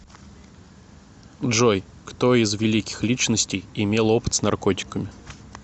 джой кто из великих личностей имел опыт с наркотиками